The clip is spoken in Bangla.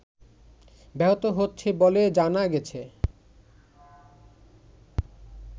ব্যাহত হচ্ছে বলে জানা গেছে